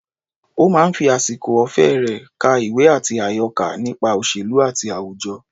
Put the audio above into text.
Ó máa ń fi àsìkò ọ̀fẹ́ rẹ̀ ka ìwé àti àyọká nípa òṣèlú àti àwùjọ.